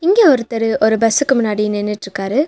இங்க ஒருத்தரு ஒரு பஸ்ஸுக்கு முன்னாடி நின்னுட்ருக்காரு.